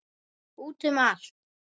Út um allt.